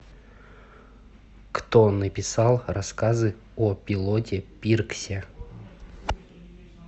кто написал рассказы о пилоте пирксе